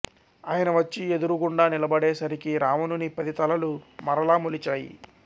ఆయన వచ్చి ఎదురుగుండా నిలబడే సరికి రావణుని పది తలలు మరల మొలిచాయి